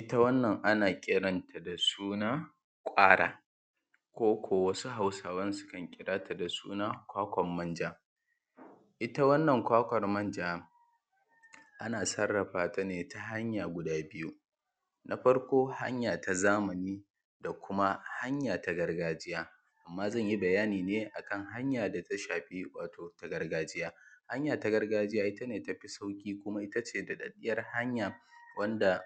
Ita wannan ana kiranta da suna kwara ko:ko: wasu Hausawan kan kira da suna kwakwan manja, ita wannan kwakwar manja ana sarrafata ne ta hanya guda biyu, na farko hanya ta zamani, da: kuma hanya ta gargajiya. A mma zan yi bayani ne akan hanya ta gargajiya. Hanya ta gargajiya ita ce tafi sauƙi, kuma ita ce doɗaɗɗiyar hanya wanda